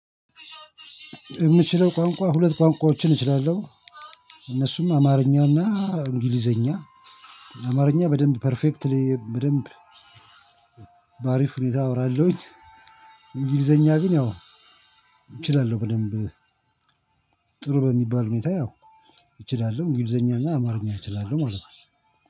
የምችለው ቋንቋ ሁለት ቋንቋዎችን እችላለሁ። እነሱም አማርኛና እንግሊዘኛ። አማርኛ በደንብ ፐርፌክትሊ በደንብ በአሪፍ ሁኔታ አወራለሁኝ። እንግሊዘኛ ግን ያው እችላለሁ በደንብ ጥሩ በሚባል ሁኔታ ያው- እችላለሁ። እንግዘኛና አማርኛ እችላለሁ ማለት ነው።